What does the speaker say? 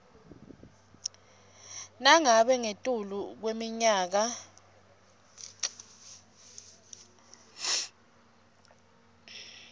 nangabe ungetulu kweminyaka